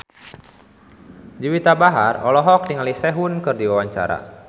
Juwita Bahar olohok ningali Sehun keur diwawancara